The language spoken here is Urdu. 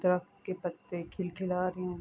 درخت کے پتے کھلکھلا رہے ہے۔